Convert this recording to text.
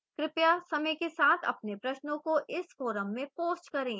कृपया समय के साथ अपने प्रश्नों को इस forum में post करें